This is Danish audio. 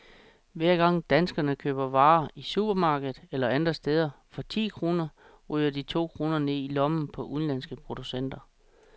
Hver gang danskerne køber varer i supermarkedet eller andre steder for ti kroner, ryger de to kroner ned i lommerne på udenlandske producenter.